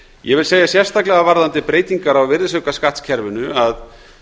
ég vil segja sérstaklega varðandi breytingar á virðisaukaskattskerfinu að